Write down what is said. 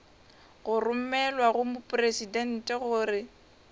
go romelwa go mopresidente gore